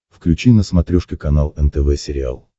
включи на смотрешке канал нтв сериал